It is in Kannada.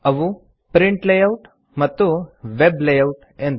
ಅವು ಪ್ರಿಂಟ್ ಲೇಯೌಟ್ ಮತ್ತು ವೆಬ್ ಲೇಯೌಟ್ ಎಂದು